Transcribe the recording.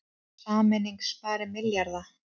Sameining spari milljarða